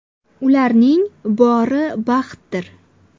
Ularning bori baxtdir.